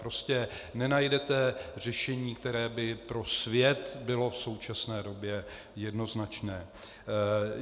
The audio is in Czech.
Prostě nenajdete řešení, které by pro svět bylo v současné době jednoznačné.